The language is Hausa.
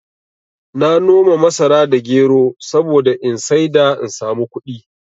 Na noma masara da gero saboda in saida in sami kuɗi